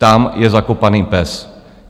Tam je zakopaný pes.